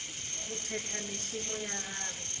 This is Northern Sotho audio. go phetha mešomo ya gagwe